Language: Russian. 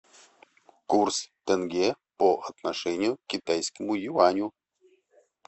курс тенге по отношению к китайскому юаню